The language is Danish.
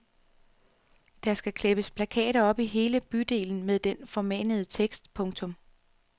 Der skal klæbes plakater op i hele bydelen med den formanende tekst. punktum